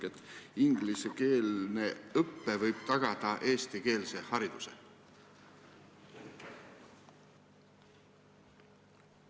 – et ingliskeelne õpe võib tagada eestikeelse hariduse?